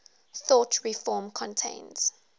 thought reform contains